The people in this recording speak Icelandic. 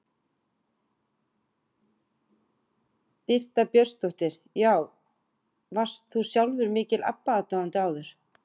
Birta Björnsdóttir: Já, varst þú sjálfur mikill Abba aðdáandi áður?